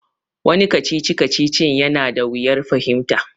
Wani kacici-kacicin ya na da wuyar fahimta